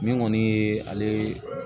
Min kɔni ye ale